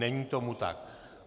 Není tomu tak.